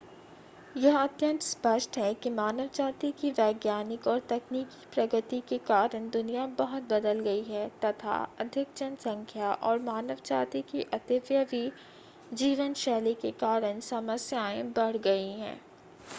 यह अत्यंत स्पष्ट है कि मानव जाति की वैज्ञानिक और तकनीकी प्रगति के कारण दुनिया बहुत बदल गई है तथा अधिक जनसंख्या और मानव जाति की अतिव्यई जीवन शैली के कारण समस्याएं बढ़ गई हैं